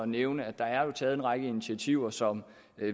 nævne at der jo er taget en række initiativer som